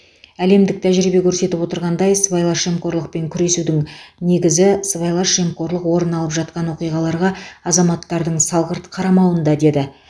әлемдік тәжірибе көрсетіп отырғандай сыбайлас жемқорлықпен күресудің негізі сыбайлас жемқорлық орын алып жатқан оқиғаларға азаматтардың салғырт қарамауында деді